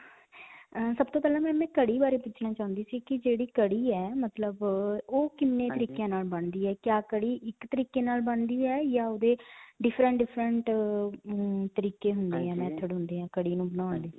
ਅਅ ਸਭ ਤੋਂ ਪਹਿਲਾਂ ma'am ਮੈਂ ਕੜੀ ਬਾਰੇ ਪੁੱਛਣਾ ਚਾਹੁੰਦੀ ਸੀ ਕਿ ਜਿਹੜੀ ਕੜੀ ਹੈ, ਮਤਲਬ ਅਅ ਉਹ ਕਿੰਨੇ ਤਰੀਕੀਆਂ ਨਾਲ ਬਣਦੀ ਹੈ. ਕਿਆ ਕੜੀ ਇਕ ਤਰੀਕੇ ਨਾਲ ਬਣਦੀ ਹੈ ਜਾਂ ਓਹਦੇ different different ਅਅ ਹਮਮ ਤਰੀਕੇ ਹੁੰਦੇ ਹੈ, method ਹੁੰਦੇ ਹੈ ਕੜੀ ਨੂੰ ਬਣਾਉਣ ਦੇ